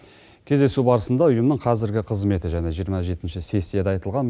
кездесу барысында ұйымның қазіргі қызметі және жиырма жетінші сессияда айтылған